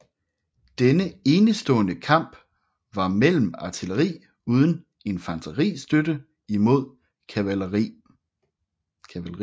Denne enestestående kamp var mellem artilleri uden infanteristøtte imod kavaleri